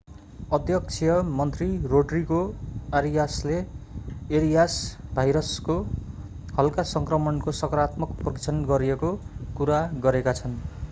अध्यक्षीय मन्त्री रोड्रिगो अरियासले एरियास भाइरसको हल्का सङ्क्रमणको सकारात्मक परीक्षण गरिएको कुरा गरेका छन्‌।